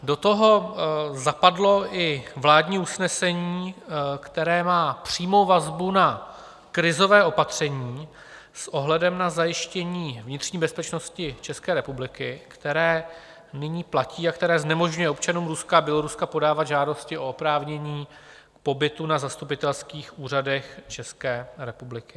Do toho zapadlo i vládní usnesení, které má přímou vazbu na krizové opatření s ohledem na zajištění vnitřní bezpečnosti České republiky, které nyní platí a které znemožňuje občanům Ruska a Běloruska podávat žádosti o oprávnění pobytu na zastupitelských úřadech České republiky.